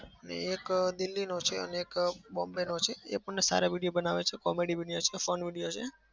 ને એક અમ દિલ્લીનો છે અને એક બોમ્બે નો છે. એ પણ સારા video બનાવે છે comedy videos fun video છે.